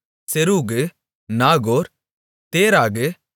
செரூகு நாகோர் தேராகு